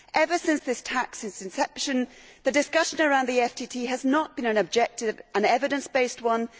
Ever since this tax's inception, the discussion around the FTT has not been an objective, evidence based one.